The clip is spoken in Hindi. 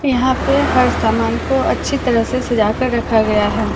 यहां पे हर सामान को अच्छी तरह से सजा कर रखा गया है।